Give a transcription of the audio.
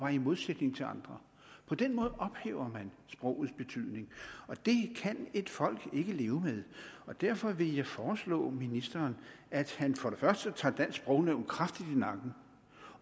i modsætning til andre på den måde ophæver man sprogets betydning og det kan et folk ikke leve med derfor vil jeg foreslå ministeren at han for det første tager dansk sprognævn kraftigt i nakken